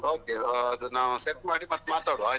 ಹ okay okay ಅದು ನಾವ್ set ಮಾಡಿ ಮತ್ತೆ ಮಾತಾಡುವ ಆಯ್ತಾ.